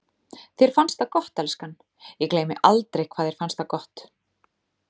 Þér fannst það gott, elskan, ég gleymi aldrei hvað þér fannst það gott.